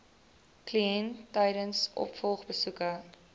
kliënt tydens opvolgbesoeke